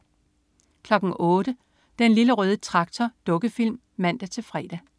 08.00 Den Lille Røde Traktor. Dukkefilm (man-fre)